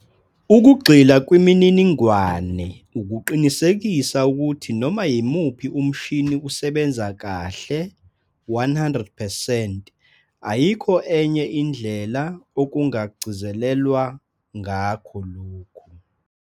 Ukugxila kwimininingwane ukuqinisekisa ukuthi noma yimuphi umshini usebanza kahle 100 percent ayikho enye indlela okungagcizelelwa ngakho lokhu.